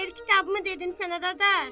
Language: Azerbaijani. Mən kitabımı dedim sənə dadaş.